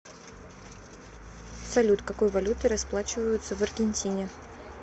салют какой валютой расплачиваются в аргентине